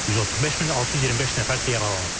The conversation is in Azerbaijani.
135625 nəfər isə yaralanıb.